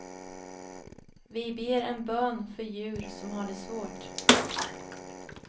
Vi ber en bön för djur som har det svårt.